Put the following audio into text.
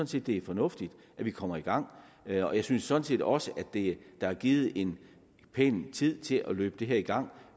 set det er fornuftigt at vi kommer i gang og jeg synes sådan set også at der er givet en pæn tid til at løbe det her i gang